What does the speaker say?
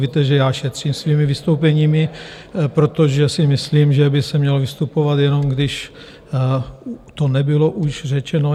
Víte, že já šetřím svými vystoupeními, protože si myslím, že by se mělo vystupovat, jenom když to nebylo už řečeno.